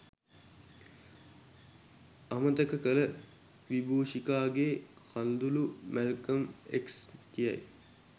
අමතක කළ විබූෂිකාගේ කඳුළු මැල්කම් එක්ස් කියයි.